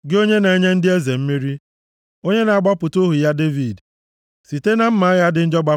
gị onye na-enye ndị eze mmeri, onye na-agbapụta ohu ya Devid. Site na mma agha dị njọ